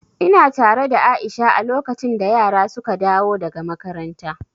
Ina tare da Aisha a lokacin da yara suka dawo daga makaranta.